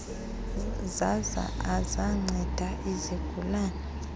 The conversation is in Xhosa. zaza azanceda isigulane